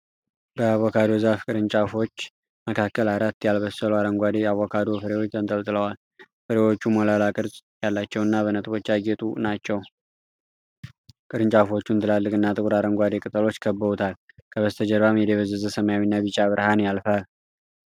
በአቮካዶ ዛፍ ቅርንጫፎች መካከል አራት ያልበሰሉ አረንጓዴ አቮካዶ ፍሬዎች ተንጠልጥለዋል። ፍሬዎቹ ሞላላ ቅርጽ ያላቸውና በነጥቦች ያጌጡ ናቸው። ቅርንጫፎቹን ትላልቅና ጥቁር አረንጓዴ ቅጠሎች ከበውታል፡፡ ከበስተጀርባም የደበዘዘ ሰማያዊና ቢጫ ብርሃን ያልፋል።